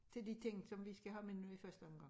Til de ting som vi skal have med nu i første omgang